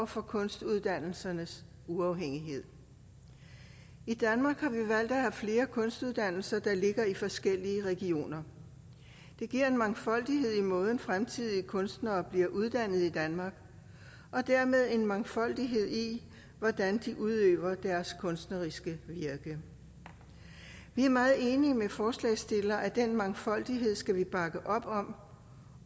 for kunstuddannelsernes uafhængighed i danmark har vi valgt at have flere kunstuddannelser der ligger i forskellige regioner det giver en mangfoldighed i måden fremtidige kunstnere bliver uddannet på i danmark og dermed en mangfoldighed i hvordan de udøver deres kunstneriske virke vi er meget enige med forslagsstillerne i at den mangfoldighed skal vi bakke op om